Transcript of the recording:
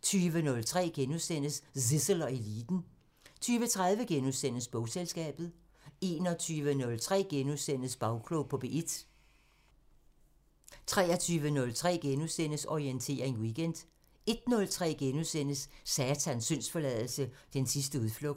* 20:03: Zissel og Eliten * 20:30: Bogselskabet * 21:03: Bagklog på P1 * 23:03: Orientering Weekend * 01:03: Satans syndsforladelse 7:7 – Den sidste udflugt *